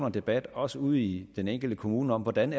en debat også ude i den enkelte kommune om hvordan